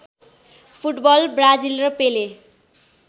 football Brazil र पेले